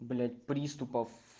блять приступов